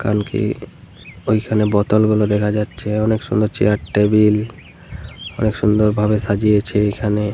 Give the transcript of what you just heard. কালকে ঐখানে বোতল গুলো দেখা যাচ্ছে। অনেক সুন্দর চেয়ার টেবিল । অনেক সুন্দর ভাবে সাজিয়েছে এখানে ।